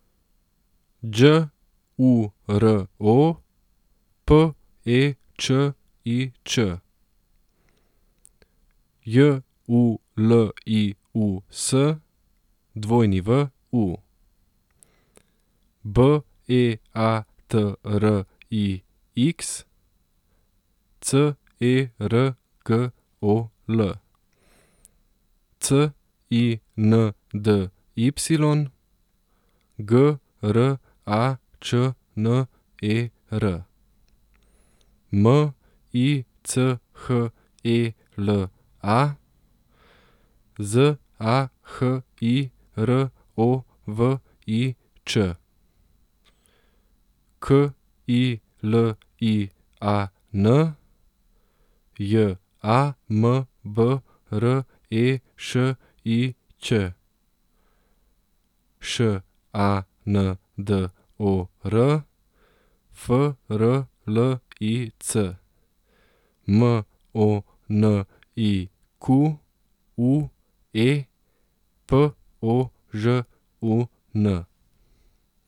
Đ U R O, P E Č I Č; J U L I U S, W U; B E A T R I X, C E R G O L; C I N D Y, G R A Č N E R; M I C H E L A, Z A H I R O V I Č; K I L I A N, J A M B R E Š I Ć; Š A N D O R, F R L I C; M O N I Q U E, P O Ž U N.